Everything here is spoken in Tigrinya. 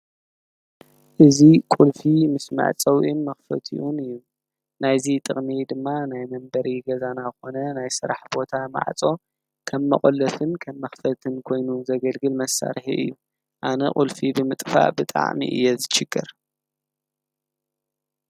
እዙይ ቁልፊ ምስ መዕፀዊኡን መክፈቲኡን እዩ። ናይዚ ጥቅሚ ድማ ናይ መንበሪ ገዛና ኮነ ናይ ስራሕ ቦታ ማዕፆ ከም መቆለፍን ከም መክፈትን ኮይኑ ዘገልግል መሳርሒ እዩ። አነ ቁልፊ ብምጥፋእ ብጣዕሚ እየ ዝችገር።